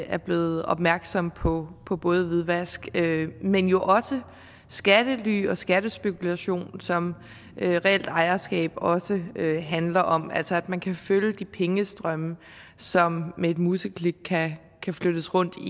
er blevet opmærksom på på både hvidvask men jo også skattely og skattespekulation som reelt ejerskab også handler om altså at man kan følge de pengestrømme som med et museklik kan flyttes rundt